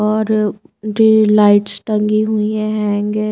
और जो लाइट्स टंगी हुई हैंग ए--